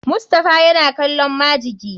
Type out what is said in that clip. Mustapha yana kallon majiki.